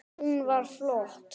Hún var flott.